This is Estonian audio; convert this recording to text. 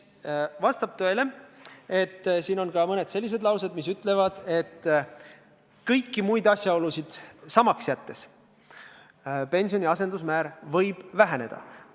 " Vastab tõele, et siin on ka mõned sellised laused, mis ütlevad, et kõiki muid asjaolusid samaks jättes võib pensioni asendusmäär väheneda.